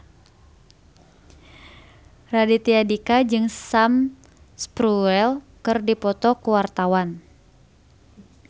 Raditya Dika jeung Sam Spruell keur dipoto ku wartawan